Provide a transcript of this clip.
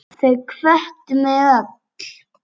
Þau hvöttu mig öll.